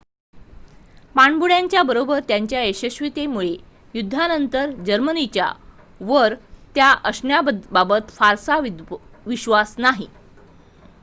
पाणबुड्यांच्या बरोबर त्यांच्या यशस्वीतेमुळे युद्धानंतर जर्मनांच्या वर त्या असण्या बाबत फारसा विश्वास नाही